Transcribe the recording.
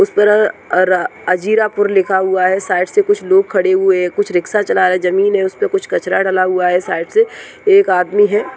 उस पर अ अजीरा पुर लिखा हुआ है साइड से कुछ लोग खड़े हुए है कुछ रिक्शा चला रहे हैजमीन है उसपे कुछ कचरा डला हुआ है साइड से एक आदमी है।